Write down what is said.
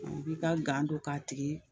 U b'i ka gan don k'a tigi